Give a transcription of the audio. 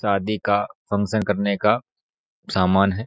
शादी का फंगक्शन करने का समान है।